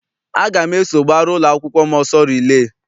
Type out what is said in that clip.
Aga m eso gbara ụlọakwụkwọ m ọsọ rilee.